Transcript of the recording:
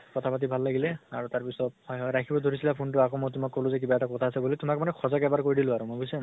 কথা পাতি ভাল লাগিলে আৰু তাৰ পিছত হয় হয় ৰাখিব ধৰিছিলা phone টো আকৌ মই তোমাক কলো যে কিবা এটা কথা আছে বুলি। তোমাক মানে সঁচাকে এবাৰ কৈ দিলো আৰু মই বুজিছা